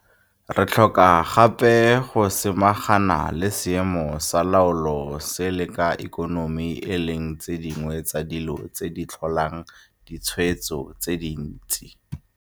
Re tlhoka gape go samagana le seemo sa loago le sa ikonomi e leng tse dingwe tsa dilo tse di tlholang ditshwaetso tse dintsi.